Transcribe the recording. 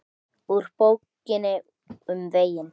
Úr Bókinni um veginn